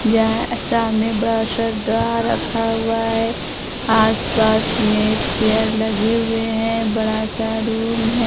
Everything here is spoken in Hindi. जहां अ सामने बड़ा सा ड्रा रखा हुआ है आस-पास में चेयर लगे हुए हैं बड़ सा रूम है।